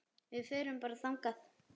Við förum bara þangað!